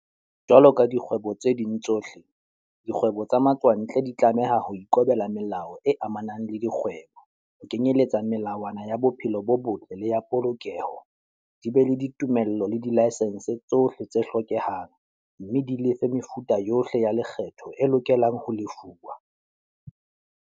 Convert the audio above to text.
Jwalo ka dikgwebo tse ding tsohle, dikgwebo tsa matswantle di tlameha ho ikobela melao e amanang le dikgwebo, ho kenyeletsa melawana ya bophelo bo botle le ya polokeho, di be le ditumello le dilaesense tsohle tse hlokehang, mme di lefe mefuta yohle ya lekgetho e lokelang ho lefuwa.